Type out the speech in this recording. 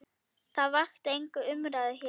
Það vakti enga umræðu hér.